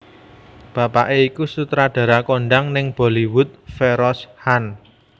Bapaké iku sutradara kondhang ning Bollywood Feroz Khan